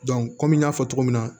kɔmi n y'a fɔ cogo min na